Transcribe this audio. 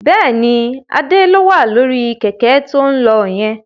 Bẹ́ẹ̀ni, Adé ló wà lórí Kẹ̀kẹ́ to ń lọ yẹn